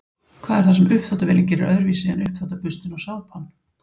Hvað er það sem uppþvottavélin gerir öðruvísi en uppþvottaburstinn og sápan?